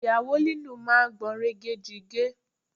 Ìyàwó lílù máa gbọ̀nrẹ̀gẹ̀jigẹ̀